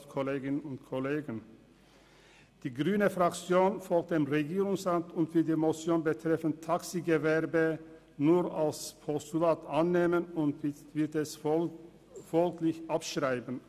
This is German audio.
Die grüne Fraktion folgt dem Regierungsrat und wird die Motion betreffend Taxigewerbe nur als Postulat annehmen sowie abschreiben.